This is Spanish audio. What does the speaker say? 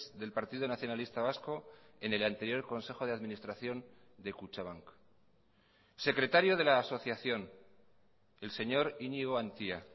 del partido nacionalista vasco en el anterior consejo de administración de kutxabank secretario de la asociación el señor iñigo antia